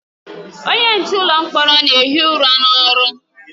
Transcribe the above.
Onye nche ụlọ mkpọrọ na-ehi ụra n'ọrụ.